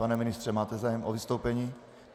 Pane ministře, máte zájem o vystoupení?